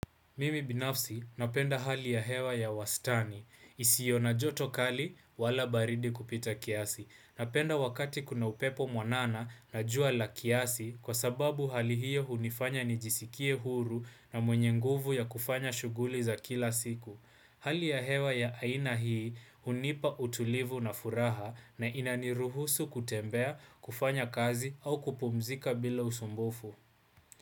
Mimi binafsi napenda hali ya hewa ya wastani. Isiyo na joto kali wala baridi kupita kiasi. Napenda wakati kuna upepo mwanana na jua la kiasi kwasababu hali hiyo hunifanya nijisikie huru na mwenye nguvu ya kufanya shughuli za kila siku. Hali ya hewa ya aina hii hunipa utulivu na furaha na inaniruhusu kutembea kufanya kazi au kupumzika bila usumbufu.